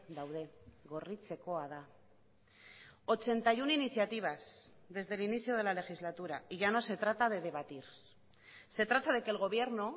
daude gorritzekoa da ochenta y uno iniciativas desde el inicio de la legislatura y ya no se trata de debatir se trata de que el gobierno